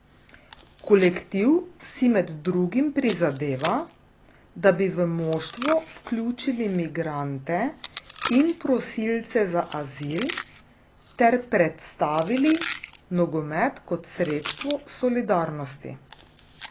Kolektiv si med drugim prizadeva, da bi v moštvo vključili migrante in prosilce za azil ter predstavili nogomet kot sredstvo solidarnosti.